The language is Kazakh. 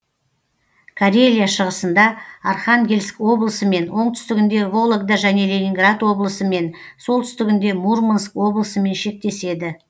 карелия шығысында архангельск облысымен оңтүстігінде вологда және ленинград облысымен солтүстігінде мурманск облысымен шектеседі